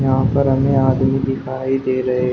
यहां पर हमें आदमी दिखाई दे रहे--